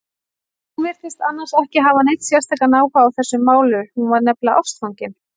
Hún virtist annars ekki hafa neinn sérstakan áhuga á þessum málum, hún var nefnilega ástfangin.